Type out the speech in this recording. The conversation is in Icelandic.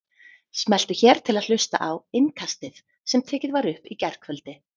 Smelltu hér til að hlusta á Innkastið sem tekið var upp í gærkvöldi